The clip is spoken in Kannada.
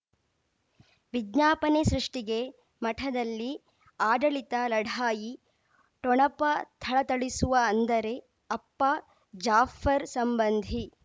ವಿಜ್ಞಾಪನೆ ಸೃಷ್ಟಿಗೆ ಮಠದಲ್ಲಿ ಆಡಳಿತ ಲಢಾಯಿ ಠೊಣಪ ಥಳಥಳಿಸುವ ಅಂದರೆ ಅಪ್ಪ ಜಾಫರ್ ಸಂಬಂಧಿ